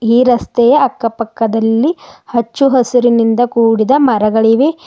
ಈ ರಸ್ತೆಯ ಅಕ್ಕ ಪಕ್ಕದಲ್ಲಿ ಹಚ್ಚು ಹಸಿರಿನಿಂದ ಕೂಡಿದ ಮರಗಳಿವೆ.